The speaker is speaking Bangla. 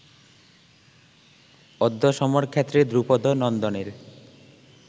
অদ্য সমরক্ষেত্রে দ্রুপদনন্দনের